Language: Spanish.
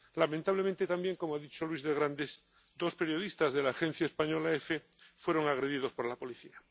Lamentablemente también —como ha dicho Luis de Grandes—, dos periodistas de la agencia española Efe fueron agredidos por la policía.